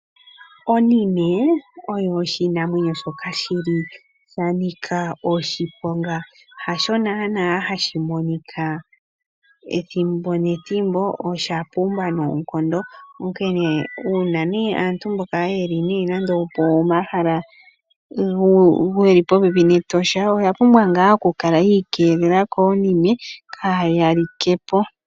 Onime oyo oshinamwenyo shoka shi li sha nika oshiponga. Hasho naanaa hashi monika ethimbo nethimbo, osha pumba noonkondo, onkene uuna aantu mboka ye li pomahala ge li popepi nEtosha oya pumbwa ngaa okukala yi ikeelela koonime , kaa ya like po.